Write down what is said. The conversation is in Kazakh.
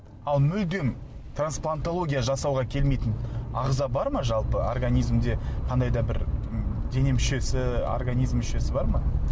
ал мүлдем транплантология жасауға келмейтін ағза бар ма жалпы организмде қандай да бір дене мүшесі организм мүшесі бар ма